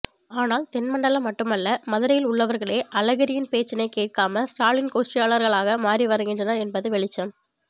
ஆனால் தென் மண்டலம் மட்டுமல்ல மதுரையில் உள்ளவர்களே அழகிரியின் பேச்சினை கேட்காமல் ஸ்டாலின் கோஷ்டியாளர்களாக மாறிவருகின்றனர் என்பது வெளிச்சம்